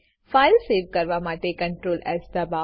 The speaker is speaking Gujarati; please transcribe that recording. ફાઈલ સેવ કરવા માટે Ctrl એસ દબાઓ